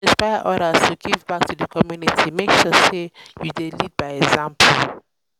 to fit inspire others to give back to di community make sure say you lead by example